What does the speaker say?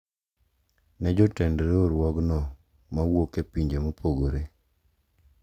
Ne jotend riwruogno mawuok e pinje mopogore.